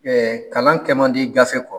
kalan kɛ man di gafe kɔ.